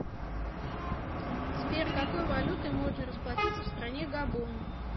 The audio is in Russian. сбер какой валютой можно расплатиться в стране габон